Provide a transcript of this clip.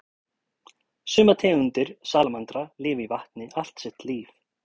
sumar tegundir salamandra lifa í vatni allt sitt líf